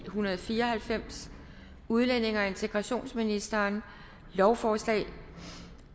en hundrede og fire og halvfems udlændinge og integrationsministeren lovforslag